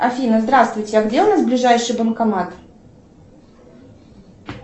афина здравствуйте а где у нас ближайший банкомат